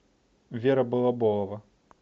вера балаболова